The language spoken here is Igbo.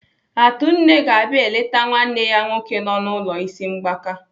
Atunne ga-abịa eleta nwanne ya nwoke nọ n'ụlọ ịsị mgbaka.